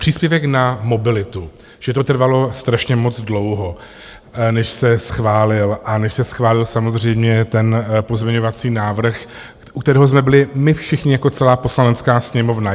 Příspěvek na mobilitu, že to trvalo strašně moc dlouho, než se schválil a než se schválil samozřejmě ten pozměňovací návrh, u kterého jsme byli my všichni jako celá Poslanecká sněmovna.